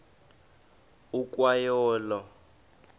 ukwa yo olo